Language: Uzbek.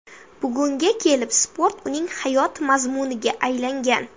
Bugunga kelib sport uning hayot mazmuniga aylangan.